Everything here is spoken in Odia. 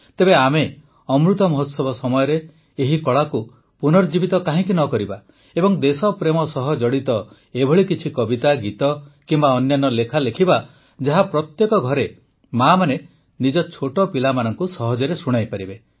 ତେବେ ଆମେ ଅମୃତ ମହୋତ୍ସବ ସମୟରେ ଏହି କଳାକୁ ପୁନର୍ଜୀବିତ କାହିଁକି ନ କରିବା ଏବଂ ଦେଶପ୍ରେମ ସହ ଜଡ଼ିତ ଏଭଳି କିଛି କବିତା ଗୀତ କିମ୍ବା ଅନ୍ୟାନ୍ୟ ଲେଖା ଲେଖିବା ଯାହା ପ୍ରତ୍ୟେକ ଘରେ ମାଆମାନେ ନିଜ ଛୋଟ ପିଲାମାନଙ୍କୁ ସହଜରେ ଶୁଣାଇପାରିବେ